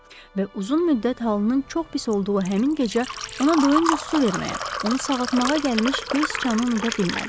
Və uzun müddət halının çox pis olduğu həmin gecə ona doyunca su verməyə, onu sağaltmağa gəlmiş göy siçanı unuda bilmədi.